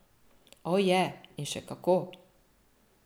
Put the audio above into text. O, je, in še kako.